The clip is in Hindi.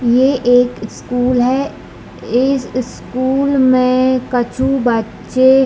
ये एक स्कूल है एइस स्कूल में कुछु बच्चे --